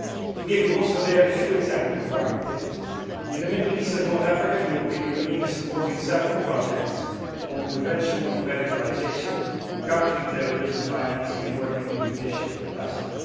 Let me give you also a few examples of our activities. In the Middle East and North Africa the European Union is supporting several projects on prevention of radicalisation, countering terrorism financing and working on judicial capacity.